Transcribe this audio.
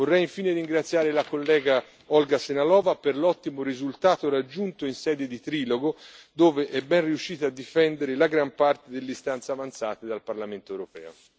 Vorrei infine ringraziare la collega Olga Sehnalová per l'ottimo risultato raggiunto in sede di trilogo, dove è ben riuscita a difendere la gran parte delle istanze avanzate dal Parlamento europeo.